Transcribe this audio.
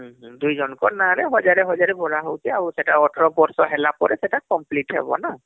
ଦୁଇ ଛୁଆ ଙ୍କ ନାଁ ରେ ୧୦୦୦ ୧୦୦୦ ଭରା ହଉଛେ ଆଉ ସେତ ୧୮ ବର୍ଷ ହେଲା ପରେ ସେଟା complete ହବ ନା